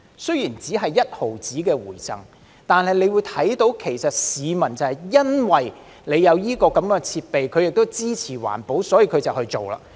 雖然只有1毫子回贈，但可以看到市民因有這樣的設備，而他們亦支持環保，所以便去做。